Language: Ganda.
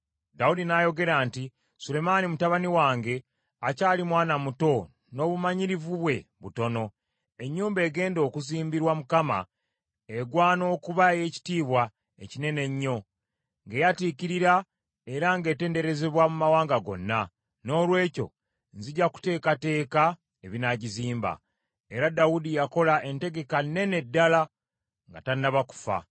Dawudi n’ayogera nti, “Sulemaani mutabani wange akyali mwana muto n’obumanyirivu bwe butono. Ennyumba egenda okuzimbirwa Mukama egwana okuba ey’ekitiibwa ekinene ennyo, ng’eyatiikirira era ng’etenderezebwa mu mawanga gonna. Noolwekyo nzija kuteekateeka ebinaagizimba.” Era Dawudi yakola entegeka nnene ddala nga tannaba kufa.